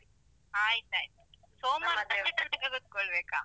ಆಯ್ತಾಯ್ತು, ಸೋಮವಾರ ಸಂಜೆ ತನಕ ಕುತ್ಕೊಳ್ಬೇಕಾ?